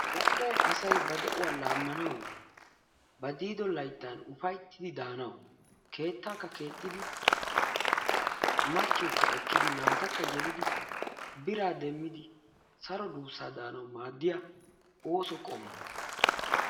Zal'ee asay ba de'uwaa laammanawunne ba diido layttan ufayttidi daanawu keetaakka keexxidi machchiyookka ekkidi naatakka yelidi biraa demmidi saro duussaa daanawu maaddiya ooso qommo.